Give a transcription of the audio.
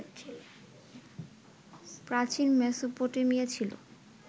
প্রাচীন মেসোপটেমিয়া ছিল